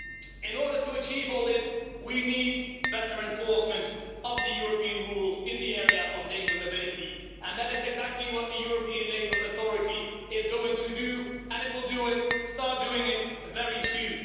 In order to achieve all this we need better enforcement of the European rules in the area of labour mobility, and that is exactly what the European Labour Authority is going to do and it will start doing it very soon.